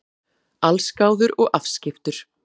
Allsgáður og afskiptur.